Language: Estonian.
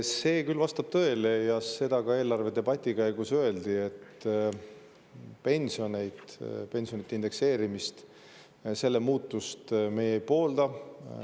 See vastab tõele ja seda ka eelarvedebati käigus öeldi, et pensionide indekseerimise muutmist meie ei poolda.